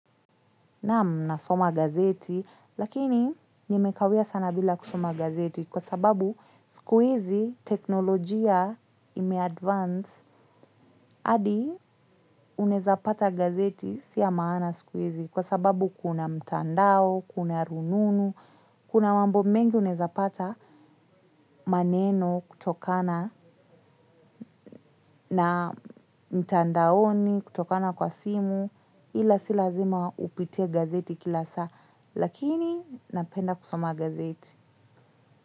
Naam nasoma gazeti, lakini nimekawia sana bila kusoma gazeti kwa sababu siku hizi tekinolojia imeadvance. Hadi unaweza pata gazeti si ya maana siku hizi kwa sababu kuna mtandao, kuna rununu, kuna mambo mengi unaweza pata maneno kutokana, na mtandaoni kutokana kwa simu ila si lazima upitie gazeti kila saa. Lakini napenda kusoma gazeti.